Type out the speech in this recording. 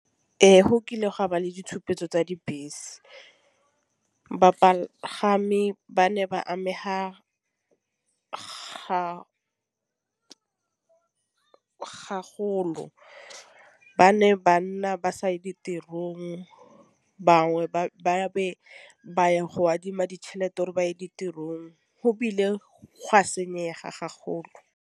Ee, go kile ga ba le ditšhupetso tsa dibese bagami ba ne ba amega ba ne ba nna ba saye ditirong bangwe ba be ba ya go adima ditšhelete gore ba ye ditirong ebile gwa senyega .